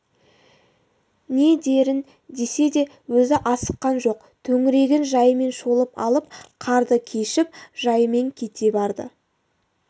не дерін десе де өзі асыққан жоқ төңірегін жайымен шолып алып қарды кешіп жайымен кете барды